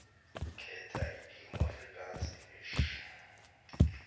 khetha ilimi afrikaansenglish